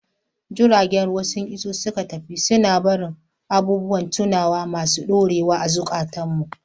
Jiragen ruwa sun iso suka tafi, suna barin abubuwan tunawa masu ɗorewa a cikin zukatanmu.